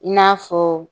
I n'a fɔ